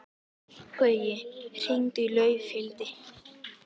Gaui, hringdu í Laufhildi.